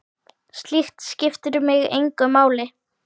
Slíkt skiptir mig engu máli.